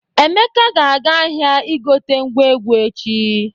Emeka ga-aga ahịa igote ngwa egwu echi.